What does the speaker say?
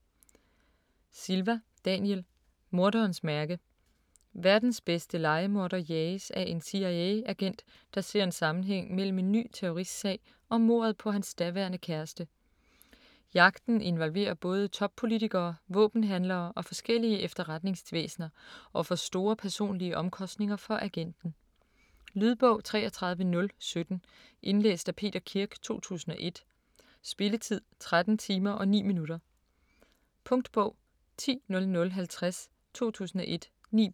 Silva, Daniel: Morderens mærke Verdens bedste lejemorder jages af en CIA-agent, der ser en sammenhæng mellem en ny terroristsag og mordet på hans daværende kæreste. Jagten involverer både toppolitikere, våbenhandlere og forskellige efterretningsvæsener, og får store personlige omkostninger for agenten. Lydbog 33017 Indlæst af Peter Kirk, 2001. Spilletid: 13 timer, 9 minutter. Punktbog 100050 2001. 9 bind.